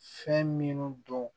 Fɛn minnu don